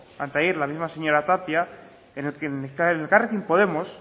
anteayer la misma señora tapia en elkarrekin podemos